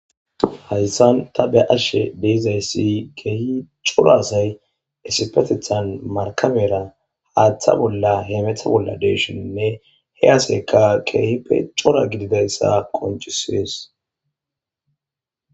hayssan ta be'ashshe dee'izayssi keehi cora say esipetethan markabera haaththa bolla heemetha bolla deeshoninne he aseyka keehi pe cora gididayssa koncisees